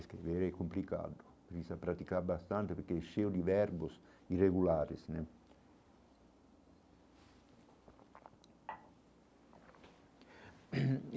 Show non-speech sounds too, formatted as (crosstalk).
Escrever é complicado, precisa praticar bastante porque é cheio de verbos irregulares né. (coughs)